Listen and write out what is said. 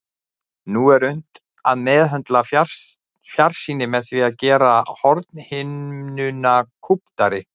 Nú er unnt að meðhöndla fjarsýni með því að gera hornhimnuna kúptari.